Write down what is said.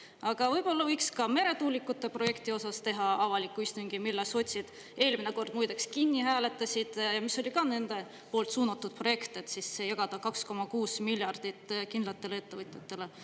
Aga võib-olla võiks ka meretuulikute projekti osas teha avaliku istungi, mille sotsid eelmine kord muideks kinni hääletasid, mis oli ka nende poolt suunatud projekt, et siis jagada 2,6 miljardit kindlatele ettevõtjatele.